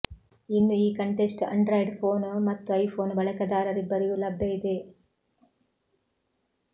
ಇನ್ನು ಈ contest Android phone ಮತ್ತು ಐಫೊನ್ ಬಳಕೆದಾರರಿಬ್ಬರಿಗೂ ಲಭ್ಯ ಇದೆ